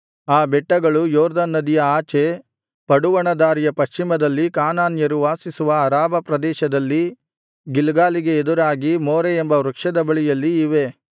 ಆ ಬೆಟ್ಟಗಳು ಯೊರ್ದನ್ ನದಿಯ ಆಚೆ ಪಡುವಣ ದಾರಿಯ ಪಶ್ಚಿಮದಲ್ಲಿ ಕಾನಾನ್ಯರು ವಾಸಿಸುವ ಅರಾಬಾ ಪ್ರದೇಶದಲ್ಲಿ ಗಿಲ್ಗಾಲಿಗೆ ಎದುರಾಗಿ ಮೋರೆ ಎಂಬ ವೃಕ್ಷದ ಬಳಿಯಲ್ಲಿ ಇವೆ